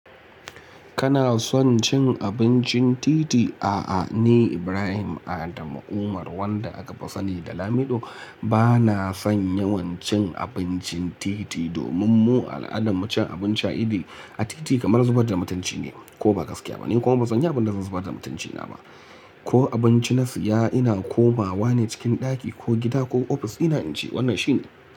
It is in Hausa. Kana son cin abincin titi? A'a, ni Ibrahim Adam Umar wanda akafi sani da Lamido bana son yawancin abincin titi domin mu al'adan mu cin abinci a iddi a titi kamar zubar da mutunci ne. Ko ba gaskiya ba ni kuma bazanyi abin da zan zubar da mutuncina ba. Ko abinci na siya ina komawa ne cikin ɗaki ko gida ko ofis dina inci wannan shine.